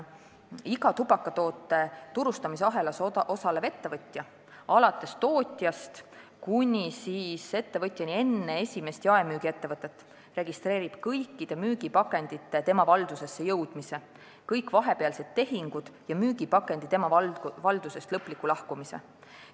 Iga tubakatoote turustamise ahelas osalev ettevõtja alates tootjast kuni viimase etapi ettevõtjani enne esimest jaemüügiettevõtet registreerib kõikide müügipakendite tema valdusesse jõudmise, kõik vahepealsed tehingud ja müügipakendite tema valdusest lõpliku lahkumise.